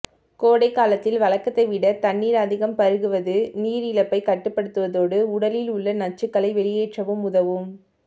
கோடை காலத்தில் வழக்கத்தை விட தண்ணீர் அதிகம் பருகுவது நீரிழப்பை கட்டுப்படுத்துவதோடு உடலில் உள்ள நச்சுக்களை வெளியேற்றவும் உதவும்